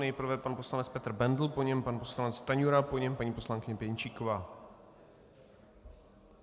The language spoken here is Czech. Nejprve pan poslanec Petr Bendl, po něm pan poslanec Stanjura, po něm paní poslankyně Pěnčíková.